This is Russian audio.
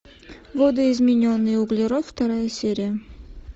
видоизмененный углерод вторая серия